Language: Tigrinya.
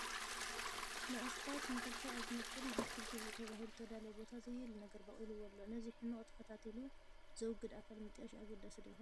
ንኣስፋልት ንኽልተ ኣብ ዝመቕል ንኣትክልቲ ተባሂሉ ዝተዳለወ ቦታ ዘየድሊ ነገር ቦቒልዎ ኣሎ፡፡ ነዚ ሕመቕ ተኸታቲሉ ዘውግድ ኣካል ምጥያሽ ኣገዳሲ ዶ ይኸውን?